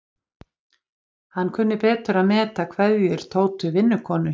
Hann kunni betur að meta kveðjur Tótu vinnukonu.